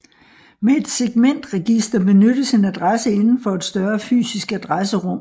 Med et segmentregister benyttes en adresse inden for et større fysisk adresserum